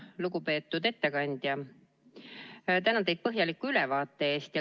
Lugupeetud ettekandja, tänan teid põhjaliku ülevaate eest!